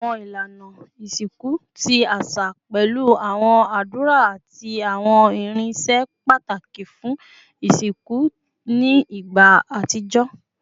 Awọn ilana isinku ti aṣa pẹlu awọn adura ati awọn irinṣẹ pataki fun isinku ni igba atijọ